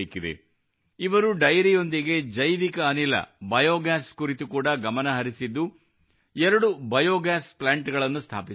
ಇವರು ಡೈರಿಯೊಂದಿಗೆ ಜೈವಿಕ ಅನಿಲ ಬಯೋಗಾಸ್ ಕುರಿತು ಕೂಡಾ ಗಮನ ಹರಿಸಿದ್ದು ಎರಡು ಬಯೋಗಾಸ್ ಪ್ಲಾಂಟ್ಸ್ ಸ್ಥಾಪಿಸಿದ್ದಾರೆ